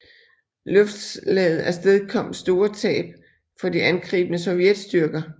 Luftslaget afstedkom store tab for de angribende sovjetstyrker